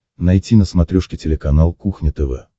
найти на смотрешке телеканал кухня тв